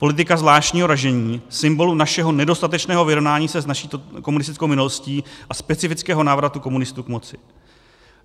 Politika zvláštního ražení, symbolu našeho nedostatečného vyrovnání se s naší komunistickou minulostí a specifického návratu komunistů k moci.